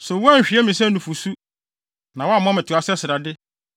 So woanhwie me sɛ nufusu na woammɔ me toa sɛ srade,